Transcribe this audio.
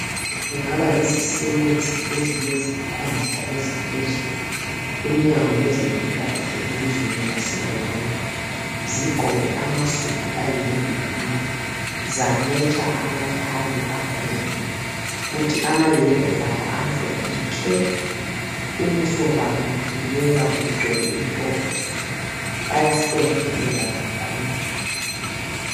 Kungaba yizisebenzi ezilezikhundla eziphezulu, kumnyango wezempilakahle elizweni lase Rwanda zigqoke amasudu ayi"navy blue " zametsha amathayi akhona, kuthi amayembe abo amhlophe nke, ubuso babo bubukeka bugcwele intokozo bayahlonipheka kakhulu.